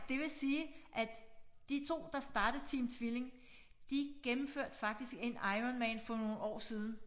Det vil sige at de 2 der startede Team Tvilling de gennemførte faktisk en Iron Man for nogle år siden